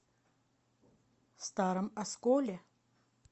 старом осколе